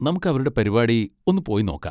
നമുക്ക് അവരുടെ പരിപാടി ഒന്ന് പോയി നോക്കാ.